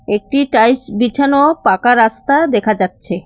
একটি টাইস বিছানো পাকা রাস্তা দেখা যাচ্ছে।